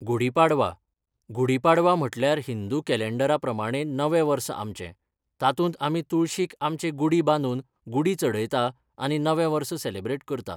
गुढीपाडवां गुढीपाडवा म्हटल्यार हिंदू केंडें केलेंडरा प्रमाणें नवें वर्स आमचे तातूंत आमी तुळशीक आमचे गुढी बादूंन गुढी चडयता आनी नवें वर्स सेलेब्रेट करता.